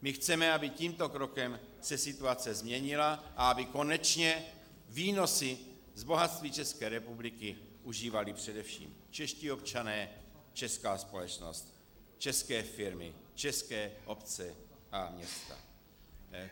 My chceme, aby tímto krokem se situace změnila a aby konečně výnosy z bohatství České republiky užívali především čeští občané, česká společnost, české firmy, české obce a města.